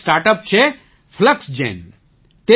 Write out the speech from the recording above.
એક startup છે Fluxgen